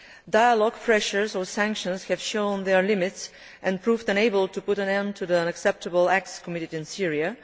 Dialogue, pressure or sanctions have shown their limits and proved unable to put an end to the unacceptable acts committed in Syria.